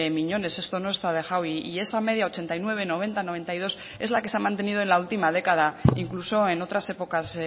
miñones esto no está dejado y esa media ochenta y nueve noventa noventa y dos es la que se ha mantenido en la última década incluso en otras épocas